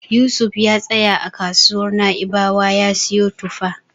Yusuf ya tsaya a kasuwar Na'ibawa ya siyo tufa.